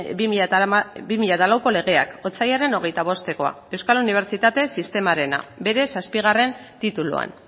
bi mila lauko legeak otsailaren hogeita bostekoa euskal unibertsitate sistemarena bere zazpigarren tituluan